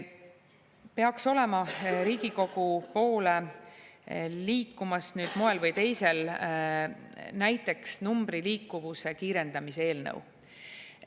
Peaks olema Riigikogu poole liikumas moel või teisel näiteks numbriliikuvuse kiirendamise eelnõu.